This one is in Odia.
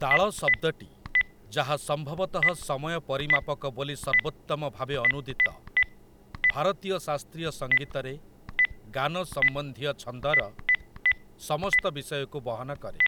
ତାଳ ଶବ୍ଦଟି, ଯାହା ସମ୍ଭବତଃ ସମୟ ପରିମାପକ ବୋଲି ସର୍ବୋତ୍ତମ ଭାବେ ଅନୁଦିତ, ଭାରତୀୟ ଶାସ୍ତ୍ରୀୟ ସଙ୍ଗୀତରେ ଗାନ ସମ୍ବନ୍ଧୀୟ ଛନ୍ଦର ସମସ୍ତ ବିଷୟକୁ ବହନ କରେ ।